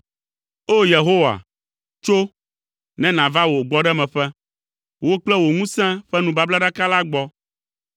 O! Yehowa, tso, ne nàva wò gbɔɖemeƒe, wò kple wò ŋusẽ ƒe nubablaɖaka la gbɔ.